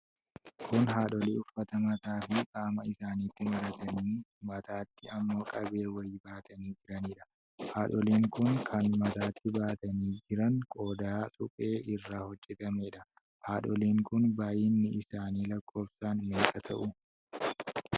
Kun haadholii uffata mataa fi qaama isaanitti maratanii mataatti ammoo qabee wayii baatanii jiraniidha. Haadholiin kun kan mataatti baatanii jiran qodaa suphee irraa hojjatamedha. Haadholiin kun baay'inni isaanii lakkoofsaaan meeeqa ta'u?